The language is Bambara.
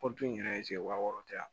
Pɔtɔ in yɛrɛ wa wɔɔrɔ tɛ yan